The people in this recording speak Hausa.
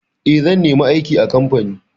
Eh, zan nemi aiki a kamfani.